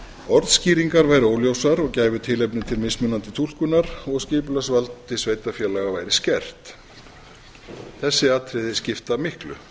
orðskýringar væru óljósar og gæfu tilefni til mismunandi túlkunar og skipulagsvald sveitarfélaga væri skert þessi atriði skipta miklu